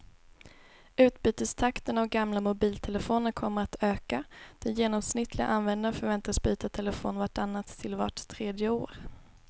Utbytestakten av gamla mobiltelefoner kommer att öka, den genomsnittliga användaren förväntas byta telefon vart annat till vart tredje år.